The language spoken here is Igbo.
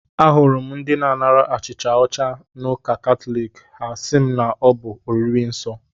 Ahụrụ m ndị na-anara achịcha ọcha n'ụka katọlik, ha asị m na ọ bụ oriri nsọ